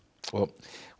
hún